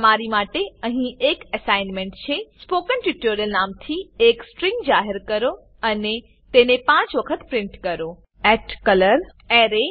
તમારી માટે અહીં એક એસાઈનમેંટ છે સ્પોકન ટ્યુટોરિયલ નામથી એક સ્ટ્રીંગ જાહેર કરો અને તેને 5 વખત પ્રીંટ કરો colorArray